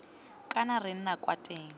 kana re nna kwa teng